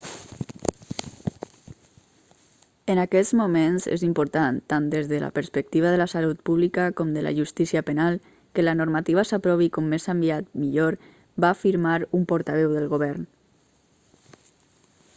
en aquests moments és important tant des de la perspectiva de la salut pública com de la justícia penal que la normativa s'aprovi com més aviat millor va afirmar un portaveu del govern